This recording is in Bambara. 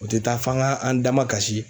O tɛ taa f'an ka an dama kasi.